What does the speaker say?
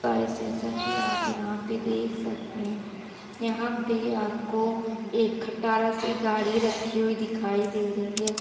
Guys जैसा कि आप यहाॅं पे देख सकते हैं यहाॅं पे आपको एक खटारा सी गाड़ी रखी हुई दिखाई दे रही है।